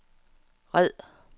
red